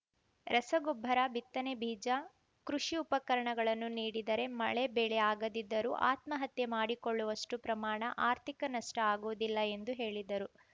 ರಸಗೊಬ್ಬರ ಬಿತ್ತನೆ ಬೀಜ ಕೃಷಿ ಉಪಕರಣಗಳನ್ನು ನೀಡಿದರೆ ಮಳೆ ಬೆಳೆ ಆಗದಿದ್ದರೂ ಆತ್ಮಹತ್ಯೆ ಮಾಡಿಕೊಳ್ಳುವಷ್ಟು ಪ್ರಮಾಣ ಆರ್ಥಿಕ ನಷ್ಟಆಗುವುದಿಲ್ಲ ಎಂದು ಹೇಳಿದರು